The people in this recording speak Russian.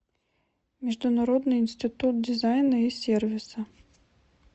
международный институт дизайна и сервиса